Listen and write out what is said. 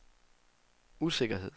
usikkerhed